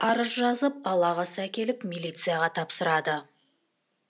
арыз жазып ал ағасы әкеліп милицияға тапсырады